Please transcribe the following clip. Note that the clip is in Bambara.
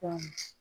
Kɔmin